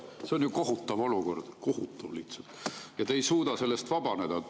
See on ju kohutav olukord, kohutav lihtsalt, ja te ei suuda sellest vabaneda.